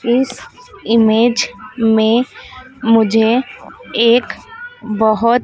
इस इमेज मे मुझे एक बहोत--